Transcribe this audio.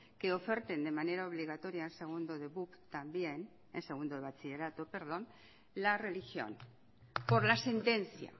que oferten de manera obligatoria en segundo de bachillerato la religión por la sentencia